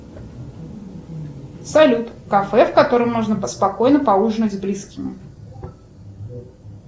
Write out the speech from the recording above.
салют кафе в котором можно спокойно поужинать с близкими